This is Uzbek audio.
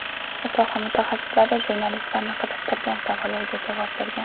Soha mutaxassislari jurnalistlarni qiziqtirgan savollarga javob bergan.